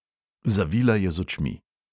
Zavila je z očmi.